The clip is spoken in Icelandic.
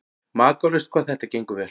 Makalaust hvað þetta gengur vel.